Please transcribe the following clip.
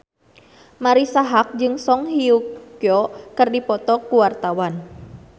Marisa Haque jeung Song Hye Kyo keur dipoto ku wartawan